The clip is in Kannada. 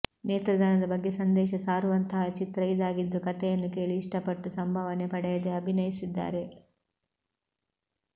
ನೇತ್ರದಾನದ ಬಗ್ಗೆ ಸಂದೇಶ ಸಾರುವಂತಹ ಚಿತ್ರ ಇದಾಗಿದ್ದು ಕಥೆಯನ್ನ ಕೇಳಿ ಇಷ್ಟ ಪಟ್ಟು ಸಂಭಾವನೆ ಪಡೆಯದೆ ಅಭಿನಯಿಸಿದ್ದಾರೆ